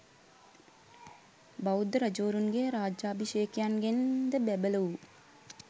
බෞද්ධ රජවරුන්ගේ රාජාභිෂේකයන්ගෙන් ද බැබළ වූ